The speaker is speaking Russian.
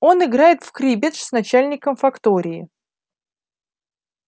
он играет в криббедж с начальником фактории